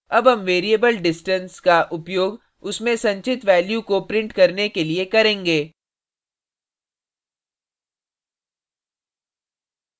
अब हम variable distance का उपयोग उसमें संचित value को print करने के लिए करेंगे